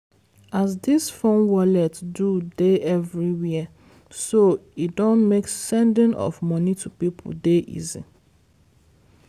as dis phone wallet do dey everywhere so e don make sending of money to people dey easy.